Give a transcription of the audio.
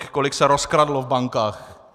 Kolik se rozkradlo v bankách?